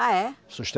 Ah, é?